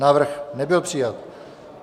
Návrh nebyl přijat.